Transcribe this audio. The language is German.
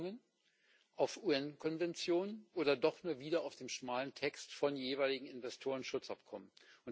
Auf Verfassungen, auf UN Konventionen oder doch nur wieder auf dem schmalen Text der jeweiligen Investorenschutzabkommen?